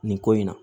Nin ko in na